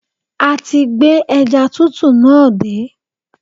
A ti gbé ẹja tútù náà dé